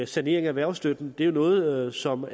sanering af erhvervsstøtten det er jo noget som